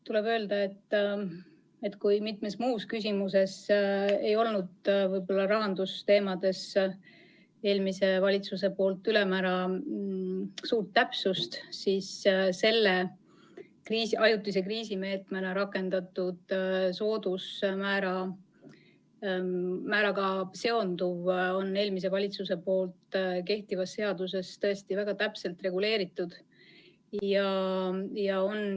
Tuleb öelda, et kuigi mitmes muus küsimuses ei olnud rahandusteemadel eelmises valitsuses võib-olla ülemäära suurt täpsust, siis selle ajutise kriisimeetmena rakendatud soodusmääraga seonduva on eelmine valitsus kehtivas seaduses väga täpselt reguleerinud.